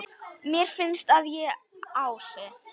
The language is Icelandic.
Mér finnst að ég, Ási